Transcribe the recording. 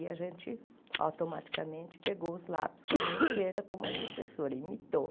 E a gente automaticamente pegou os lápis com a mão esquerda, como a professora imitou.